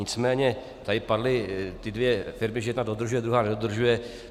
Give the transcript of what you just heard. Nicméně tady padly ty dvě firmy, že jedna dodržuje, druhá nedodržuje.